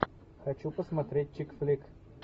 хочу посмотреть чикфлик